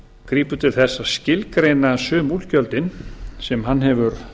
grípur til þess að skilgreina sum útgjöldin sem hann hefur